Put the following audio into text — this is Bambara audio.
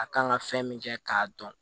A kan ka fɛn min kɛ k'a dɔn